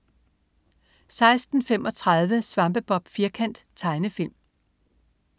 16.35 Svampebob Firkant. Tegnefilm